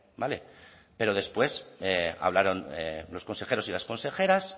vale pero después hablaron los consejeros y las consejeras